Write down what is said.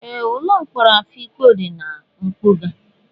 Ee, ụlọ mkpọrọ Afikpo dị na mpụga.